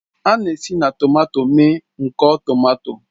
A na-esi na tomato mee nkọ tomato